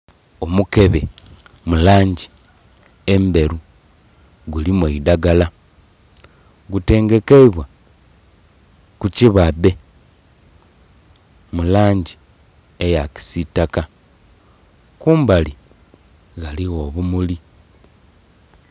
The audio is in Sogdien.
Omukebe mulangi endheru gulimu eidagala gutengekeibwa ku kibadhe mulangi eya kisitaka kumbali ghaligho obumuli.